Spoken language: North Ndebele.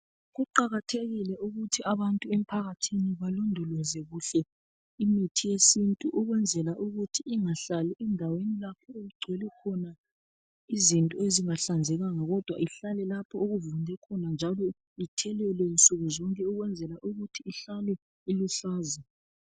Kuqakathekile ukuthi abantu emphakathini balondoloze kuhle imithi yesintu ukwenzela ukuthi ingahlali endaweni lapho okugcwele khona izinto ezingahlanzekanga kodwa ihlale lapho okuvunde khona njalo ithelelwe nsukuzonke ukwenzela ukuthi ihlale iluhlaza.